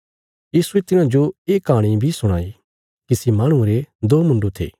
यीशुये तिन्हांजो ये कहाणी बी सुणाई किसी माहणुये रे दो मुण्डु थे